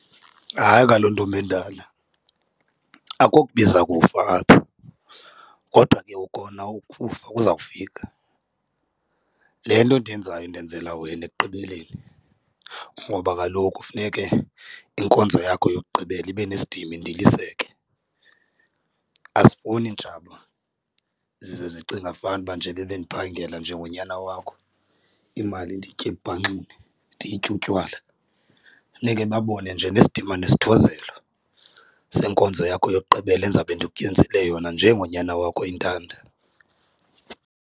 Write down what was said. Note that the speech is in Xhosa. Hayi, kaloku ntombi endala akokubiza kufa apha kodwa ke kona ukufa kuzawufika. Le nto ndiyenzayo ndenzela wena ekugqibeleni ngoba kaloku funeke inkonzo yakho yokugqibela ibe nesidima indiliseke. Asifuni iintshaba zize zicinga fanuba njeba bendiphangela njengonyana wakho imali ndiyitye ebubhanxeni ndiyitye utywala, funeke babone nje nesidima nesithozelo senkonzo yakho yokugqibela endizawube ndikwezele yona njengonyana wakho oyintanda.